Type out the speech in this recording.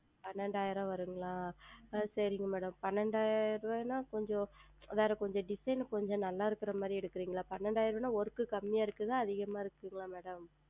பன்னிரெண்டாயிரம் வரும்ங்களாஆஹ் சரிங்கள் Madam பன்னிரெண்டாயிரம் ரூபாய் கொஞ்சம் வேறு கொஞ்சம் Design கொஞ்சம் நன்றாக இருக்கிற மாதிரி எடுக்கிறீர்களா பன்னிரெண்டாயிரம் ரூபாய் என்றால் Work குறைவாக இருக்கிறதா அதிகமாக இருக்கிறதா Madam